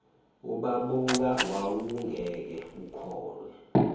ubabuka wawungeke ukhohlwe